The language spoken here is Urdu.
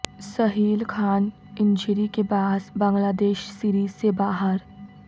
سہیل خان انجری کے باعث بنگلہ دیش سیریز سے باہر